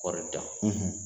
Kɔɔri dan